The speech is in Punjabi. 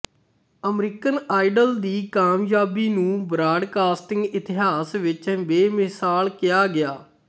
ਅਮਰੀਕਨ ਆਇਡੋਲ ਦੀ ਕਾਮਯਾਬੀ ਨੂੰ ਬਰਾਡਕਾਸਟਿੰਗ ਇਤਿਹਾਸ ਵਿੱਚ ਬੇਮਿਸਾਲ ਕਿਹਾ ਗਿਆ ਹੈ